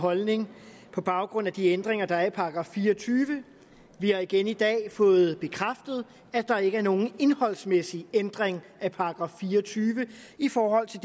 holdning på baggrund af de ændringer der er af § fireogtyvende vi har igen i dag fået bekræftet at der ikke er nogen indholdsmæssig ændring af § fire og tyve i forhold til